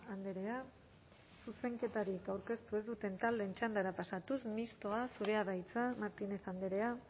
andrea zuzenketarik aurkeztu ez duten taldeen txandara pasatuz mistoa zurea da hitza martínez andrea